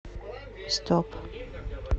стоп